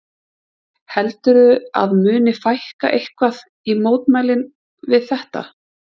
Heldurðu að muni fækka eitthvað í mótmælin við þetta?